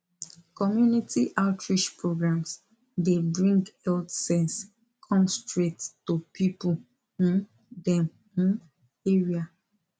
community outreach programs dey bring health sense come straight to people um dem um area